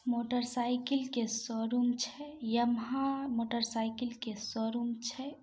Motorcycle के showroom छै Yamaha motorcycle के शोरूम छै।